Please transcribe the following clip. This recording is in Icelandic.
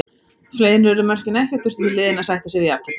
Fleiri urðu mörkin ekki og þurftu því liðin að sætta sig jafntefli.